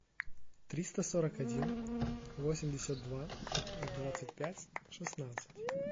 триста сорок один восемьдесят два двадцать пять шестнадцать